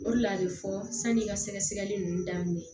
O de la a bɛ fɔ sani i ka sɛgɛ sɛgɛli ninnu daminɛ